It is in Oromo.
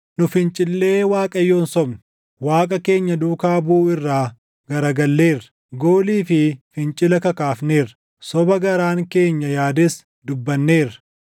nu fincillee Waaqayyoon sobne; Waaqa keenya duukaa buʼuu irraa garagalleerra; goolii fi fincila kakaafneerra; soba garaan keenya yaades dubbanneerra.